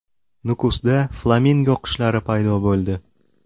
Nukusda flamingo qushlari paydo bo‘ldi.